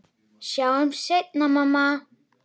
Við sjáumst seinna, mamma.